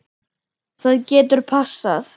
Það getur passað.